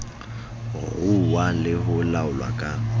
ruuwa le ho laolwa ka